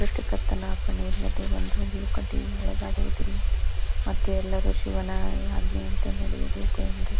ಸ್ರಷ್ಟಿಕರ್ತನ ಅಪ್ಪಣೆ ಇಲ್ಲದೆ ಒಂದು ಹುಲ್ಲು ಕಡ್ಡಿಯು ಅಲುಗಾಡುವುದಿಲ್ಲ ಮತ್ತು ಎಲ್ಲರೂ ಶಿವನ ಆಜ್ಞೆಯಂತೆ ನಡೆಯಬೇಕು ಎಂದು--